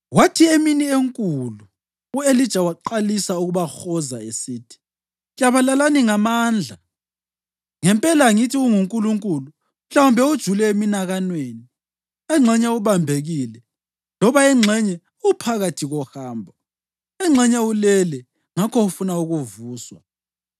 Kwathi emini enkulu u-Elija waqalisa ukubahoza esithi, “Klabalalani ngamandla! Ngempela angithi ungunkulunkulu! Mhlawumbe ujule eminakanweni, engxenye ubambekile, loba engxenye uphakathi kohambo. Engxenye ulele ngakho ufuna ukuvuswa.”